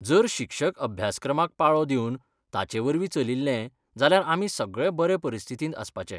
जर शिक्षकअभ्यासक्रमाक पाळो दिवन ताचेवरवीं चलिल्ले जाल्यार आमी सगळे बरे परिस्थितींत आसपाचे.